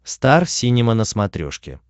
стар синема на смотрешке